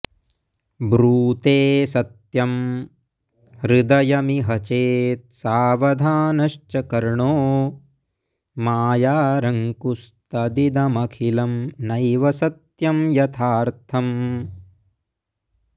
ब्रूते सत्यं हृदयमिह चेत् सावधानश्च कर्णो मायारङ्कुस्तदिदमखिलं नैव सत्यं यथार्थम्